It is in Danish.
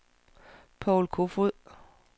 Paul Koefoed